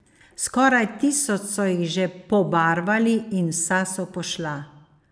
Skoraj tisoč so jih že pobarvali in vsa so pošla.